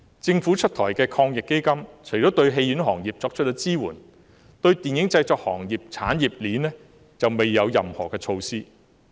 政府出台的防疫抗疫基金對戲院行業作出支援，但對電影製作行業的產業鏈卻未有任何措施。